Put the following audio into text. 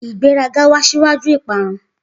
Igbe 'a ga o we s'ugwaju i pa'uun.